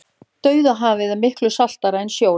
dauðahafið er miklu saltara en sjórinn